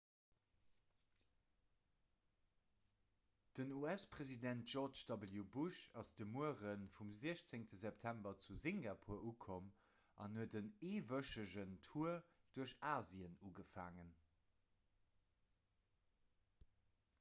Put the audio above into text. den us-president george w bush ass de muere vum 16 september zu singapur ukomm an huet en eewëchegen tour duerch asien ugefaangen